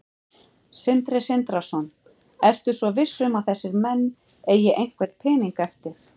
Sindri Sindrason: Ertu svo viss um að þessir menn eigi einhvern pening eftir?